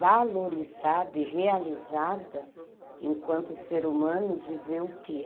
valorizada e realizada enquanto ser humano de ver o que?